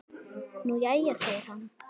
Nú jæja segir hann.